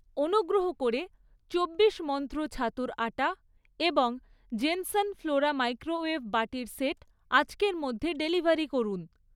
অনুগ্রহ করে চব্বিশ মন্ত্র ছাতুর আটা এবং জেন্সন ফ্লোরা মাইক্রোওয়েভ বাটির সেট আজকের মধ্যে ডেলিভারি করুন।